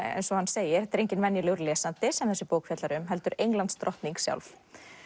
eins og hann segir þetta er enginn venjulegur lesandi sem þessi bók fjallar um heldur Englandsdrottning sjálf